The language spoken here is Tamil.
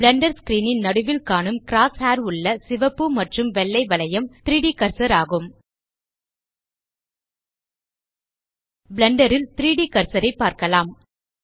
பிளெண்டர் ஸ்க்ரீன் ன் நடுவில் காணும் cross ஹேயர் உள்ள சிவப்பு மற்றும் வெள்ளை வளையம் 3ட் கர்சர் ஆகும் பிளெண்டர் ல் 3ட் கர்சர் ஐ பார்க்கலாம்